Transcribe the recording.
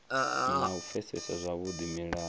na u pfesesa zwavhudi mulayo